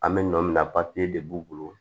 An bɛ nɔ min na de b'u bolo